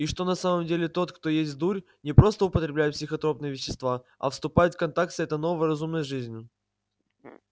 и что на самом деле тот кто есть дурь не просто употребляет психотропные вещества а вступает в контакт с этой новой разумной жизнью